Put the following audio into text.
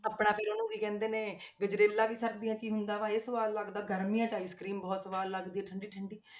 ਆਪਣਾ ਫਿਰ ਉਹਨੂੰ ਕੀ ਕਹਿੰਦੇ ਨੇ ਗਜ਼ਰੇਲਾ ਵੀ ਸਰਦੀਆਂ 'ਚ ਹੀ ਹੁੰਦਾ ਵਾ ਇਹ ਸਵਾਦ ਲੱਗਦਾ ਗਰਮੀਆਂ 'ਚ ice cream ਬਹੁਤ ਸਵਾਦ ਲੱਗਦੀ ਹੈ ਠੰਢੀ ਠੰਢੀ।